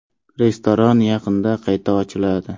Restoran yaqinda qayta ochiladi.